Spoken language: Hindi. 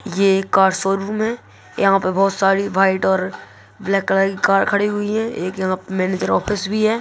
ये एक कार शोरूम है यहाँ पे बहुत सारी वाईट और ब्लैक कलर की कार खड़ी हुई है| एक यहाँ मैनेजर ऑफिस भी है।